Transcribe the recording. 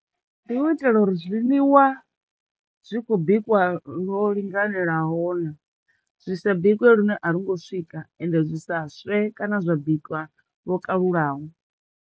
Ndi u itela uri zwiḽiwa zwi kho bikiwa lwo linganelaho na, zwi sa bikwe lune a lwo ngo swika ende zwi sa swe kana zwa bikwa lwo kalulaho.